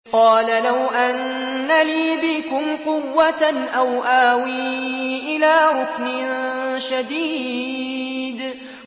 قَالَ لَوْ أَنَّ لِي بِكُمْ قُوَّةً أَوْ آوِي إِلَىٰ رُكْنٍ شَدِيدٍ